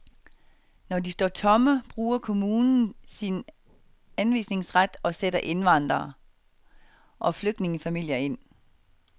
Når de står tomme, bruger kommunen sin anvisningsret og sætter indvandrere, og flygtningefamilier ind.